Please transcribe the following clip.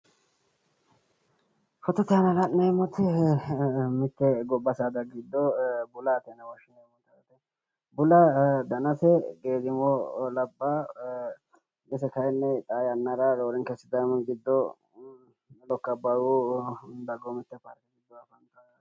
Fotote aana la'neemmoti mitte gobba saada giddo bulaate yine woshshineemmote yaate. Bulaa danase geedimo labbawo. Ise kayinni xaa yannara roorenka sidaamu giddo lokka abbaayyu dagoomitte paarke gidoo afantawo yaate.